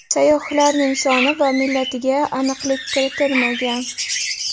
Sayyohlarning soni va millatiga aniqlik kiritilmagan.